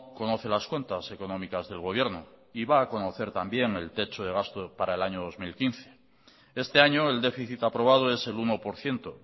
conoce las cuentas económicas del gobierno y va a conocer también el techo de gasto para el año dos mil quince este año el déficit aprobado es el uno por ciento